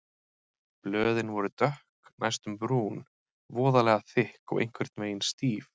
Blöðin voru dökk, næstum brún, voðalega þykk og einhvern veginn stíf.